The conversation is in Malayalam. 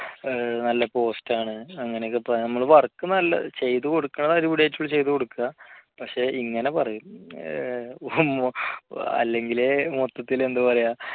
നല്ല post ആണ് അങ്ങനെയൊക്കെ പറഞ്ഞു നമ്മളെ work നല്ല ചെയ്തുകൊടുക്കുന്നത് അടിപൊളിയായിട്ട് നമ്മൾ ചെയ്തുകൊടുക്കുക പക്ഷേ ഇങ്ങനെ പറയും അല്ലെങ്കിലേ മൊത്തത്തിൽ എന്താ പറയാ